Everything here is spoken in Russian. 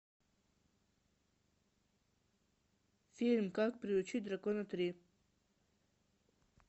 фильм как приручить дракона три